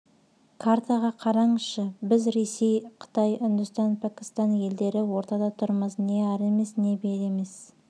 картаға қараңызшы біз ресей қытай үндістан пакистан елдері ортада тұрмыз не ары емес не бері емес